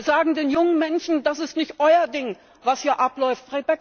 Wir sagen den jungen Menschen Das ist nicht euer Ding, was hier abläuft.